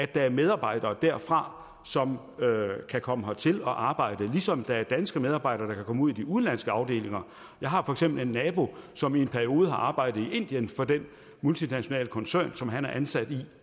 der er medarbejdere derfra som kan komme hertil og arbejde ligesom der er danske medarbejdere der kan komme ud i de udenlandske afdelinger jeg har for eksempel en nabo som i en periode har arbejdet i indien for den multinationale koncern som han er ansat i